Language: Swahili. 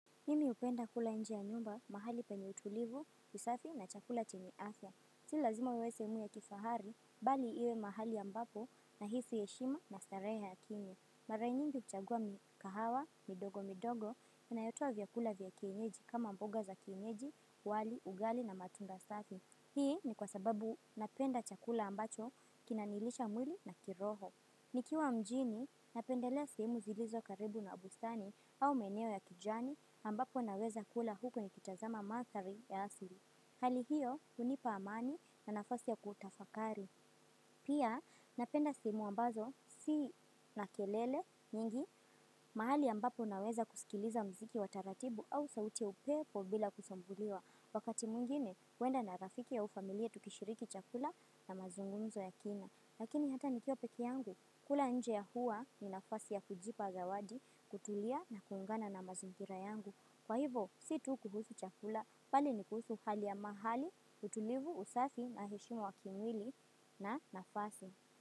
Mimi upenda kula nje ya nyumba, mahali penye utulivu, usafi na chakula chenye afya. Si lazima iwe seemu ya kifahari, bali iwe mahali ambapo nahisi heshima na sareha ya kini. Mara nyingi hukuchagua mikahawa, midogo midogo, inayotoa vyakula vya kienyeji kama mboga za kienyeji, wali, ugali na matunda safi. Hii ni kwa sababu napenda chakula ambacho, kinanilisha mwili na kiroho. Nikiwa mjini napendelea sehemu zilizo karibu na bustani au maeneo ya kijani ambapo naweza kula huko ni kitazama manthari ya asili. Hali hiyo hunipa amani na nafasi ya kutafakari. Pia napenda sehemu ambazo si na kelele nyingi mahali ambapo naweza kuskiliza muziki wa taratibu au sauti ya upepo bila kusumbuliwa wakati mwingine huenda na rafiki au familia tukishiriki chakula na mazungumzo ya kina. Lakini hata nikiwa pekeyangu, kula nje ya hua ni nafasi ya kujipa zawadi, kutulia na kuungana na mazingira yangu. Kwa hivo, si tu kuhusu chakula, pali ni kuhusu hali ya mahali, utulivu, usafi, na heshima wa kimwili na nafasi.